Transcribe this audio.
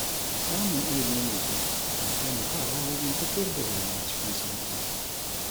Samun ilimi mai kyau na taimakawa wajen tafiyar da rayuwa cikin sauƙi.